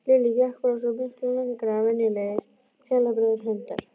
Lilli gekk bara svo miklu lengra en venjulegir heilbrigðir hundar.